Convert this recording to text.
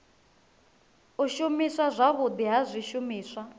u shumiswa zwavhudi ha zwishumiswa